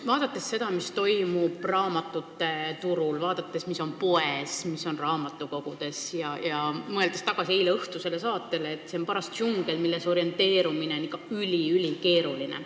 Vaadates seda, mis toimub raamatute turul, mis on poes ja mis on raamatukogudes ning mõeldes tagasi eileõhtusele saatele, on see paras džungel, milles orienteerumine on ikka üli-ülikeeruline.